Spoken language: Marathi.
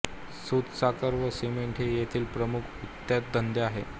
सुत साखर व सिमेंट हे येथील प्रमुख उद्योगधंदे आहेत